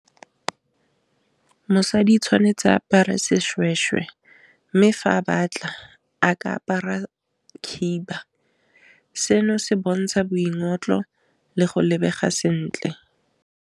Mosadi o tshwanetse apare seshweshwe mme fa a batla a ka apara khiba seno se bontsha boingotlo le go lebega sentle.